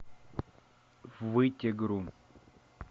вытегру